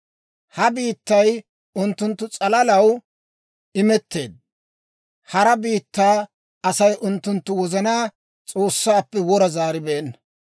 Ha biittay unttunttu s'alalaw imetteedda; hara biittaa Asay unttunttu wozanaa S'oossaappe wora zaaribeenna.